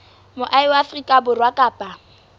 moahi wa afrika borwa kapa